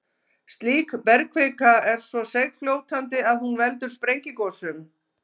Slík bergkvika er svo seigfljótandi að hún veldur sprengigosum.